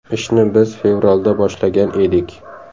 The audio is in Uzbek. Ishni biz fevralda boshlagan edik.